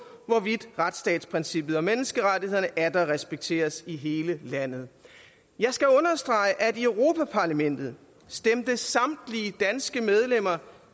hvorvidt retsstatsprincippet og menneskerettighederne atter respekteres i hele landet jeg skal understrege at i europa parlamentet stemte samtlige danske medlemmer